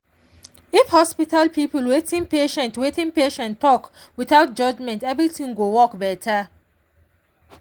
if hospital people hear wetin patient wetin patient talk without judgment everything go work better.